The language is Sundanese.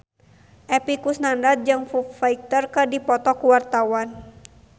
Epy Kusnandar jeung Foo Fighter keur dipoto ku wartawan